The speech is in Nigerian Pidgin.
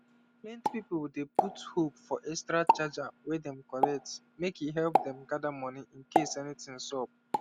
plenty people dey put hope for extra chargers wey dem collect make e help them gather money incase anything sup